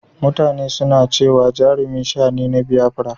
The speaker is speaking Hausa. mutane suna cewa Jarumi sha ne na Biyafara